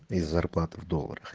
и зарплата в долларах